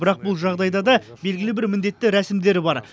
бірақ бұл жағдайда да белгілі бір міндетті рәсімдер бар